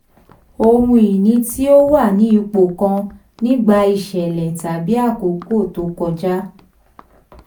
ohun ìní tí ó wà ní ipò kan nígbà iṣẹ̀lẹ̀ tàbí àkókò tó kọjá.